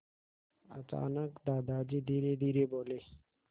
अचानक दादाजी धीरेधीरे बोले